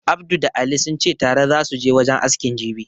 Abdu da Ali sunce tare zasu je wajen askin jibi